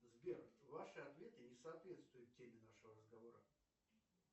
сбер ваши ответы не соответствуют теме нашего разговора